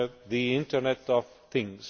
the Internet of Things.